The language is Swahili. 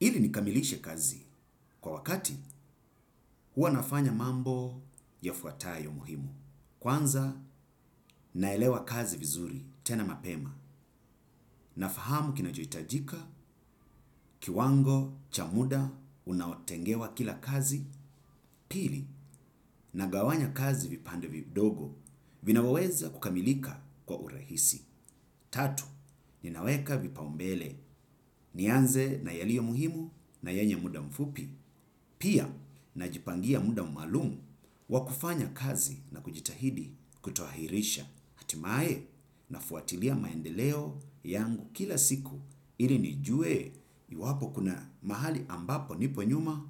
Ili nikamilishe kazi kwa wakati huwa nafanya mambo yafuatayo muhimu. Kwanza naelewa kazi vizuri tena mapema, nafahamu kinachohitajika kiwango cha muda unaotengewa kila kazi, pili nagawanya kazi vipando vidogo vinavyoweza kukamilika kwa urahisi. Tatu, ninaweka vipaumbele, nianze na yaliomuhimu na yenye muda mfupi, pia najipangia muda maalumu wa kufanya kazi na kujitahidi kutoahirisha, hatimae nafuatilia maendeleo yangu kila siku ili nijue iwapo kuna mahali ambapo nipo nyuma